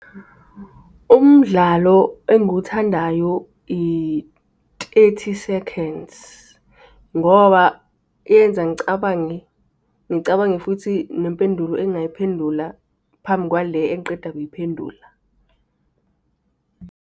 Umdlalo engiwuthandayo i-Thirty Seconds, ngoba yenza ngicabange, ngicabange futhi nempendulo engingayiphendula phambi kwale engiqeda kuyiphendula.